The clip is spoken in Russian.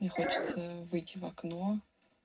хочется выйти в окно